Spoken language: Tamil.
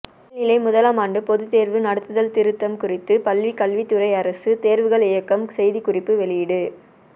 மேல்நிலை முதலாம் ஆண்டு பொதுத் தேர்வு நடத்துதல் திருத்தம் குறித்து பள்ளிக்கல்வித்துறை அரசு தேர்வுகள் இயக்ககம் செய்திக்குறிப்பு வெளியீடு